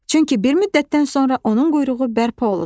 Çünki bir müddətdən sonra onun quyruğu bərpa olunur.